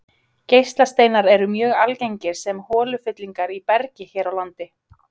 Geislasteinar eru mjög algengir sem holufyllingar í bergi hér á landi.